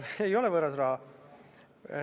Ei ole võõras raha.